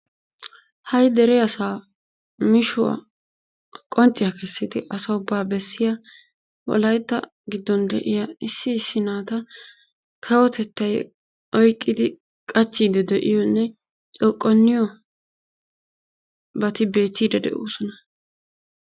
Ha''i dere asaa mishuwa qoncciya kessidi asa ubaa bessiya wolaytta giddon de'iya issi issi naata kawotettay oyqqidi qachchiiddi de'iyonne coqonniyobati beetiiddi de'oosona.